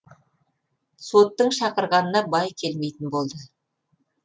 соттың шақырғанына бай келмейтін болды